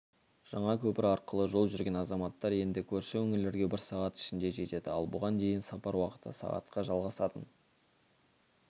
жаңа көпір арқылы жол жүрген азаматтар енді көрші өңірлерге бір сағат ішінде жетеді ал бұған дейін сапар уақыты сағатқа жалғасатын